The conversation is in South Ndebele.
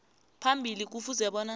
phambili kufuze bona